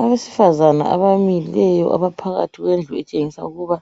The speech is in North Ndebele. Abesifazana abamileyo abaphakathi kwendlu etshengisa ukuba